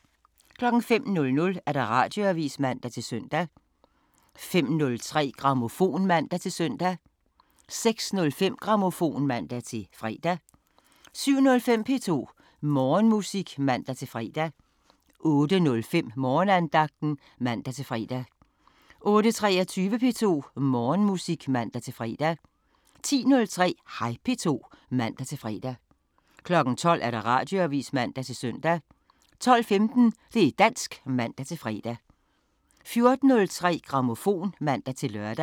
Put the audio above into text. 05:00: Radioavisen (man-søn) 05:03: Grammofon (man-søn) 06:05: Grammofon (man-fre) 07:05: P2 Morgenmusik (man-fre) 08:05: Morgenandagten (man-fre) 08:23: P2 Morgenmusik (man-fre) 10:03: Hej P2 (man-fre) 12:00: Radioavisen (man-søn) 12:15: Det' dansk (man-fre) 14:03: Grammofon (man-lør)